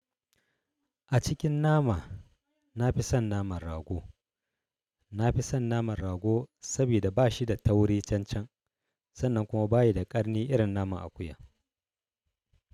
A cikin nama, na fi son naman rago. Na fi son naman rago saboda ba shi da tauri cancan, sannan kuma ba yi da ƙarni irin naman akuya.